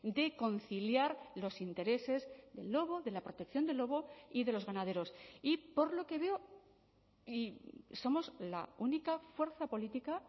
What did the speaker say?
de conciliar los intereses del lobo de la protección del lobo y de los ganaderos y por lo que veo y somos la única fuerza política